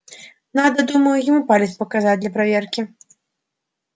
надо думаю ему палец показать для проверки